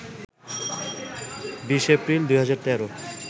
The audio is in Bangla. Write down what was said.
২০ এপ্রিল ২০১৩